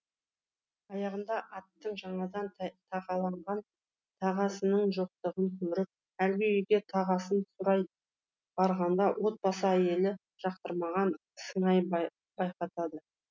аяғында аттың жаңадан тағаланған тағасының жоқтығын көріп әлгі үйге тағасын сұрай барғанда отбасы әйелі жақтырмаған сыңай байқатады